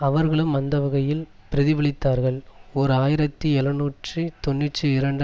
அவர்களும் அந்த வகையில் பிரதிபலித்தார்கள் ஓர் ஆயிரத்தி எழுநூற்று தொன்னூற்றி இரண்டு